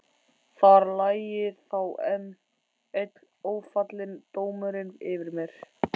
Þar lægi þá enn einn ófallinn dómurinn yfir mér.